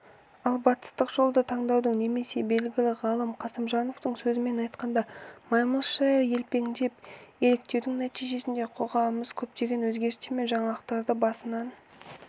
ал батыстық жолды таңдаудың немесе белгілі ғалым қасымжановтың сөзімен айтқанда маймылша елпеңдеп еліктеудің нәтижесінде қоғамымыз көптеген өзгерістер мен жаңалықтарды басынан